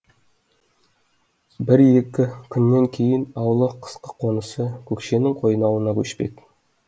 бір екі күннен кейін аулы қысқы қонысы көкшенің қойнауына көшпек